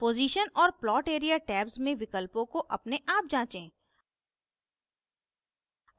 position और plot area tabs में विकल्पों को अपने आप जाँचें